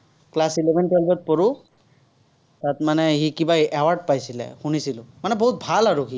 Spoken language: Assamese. class eleven twelve ত পঢ়ো, তাত মানে সি কিবা award পাইছিলে, শুনিছিলো। মানে বহুত ভাল আৰু সি।